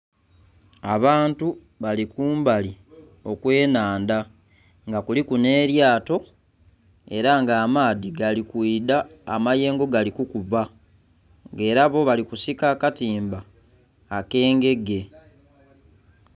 Abantu bali kumbali okwe nnhandha nga kuliku nhe lyato era nga amaadhi gali kwidha amayengo gali kukuba nga era bo bali kusika akatimba akengege.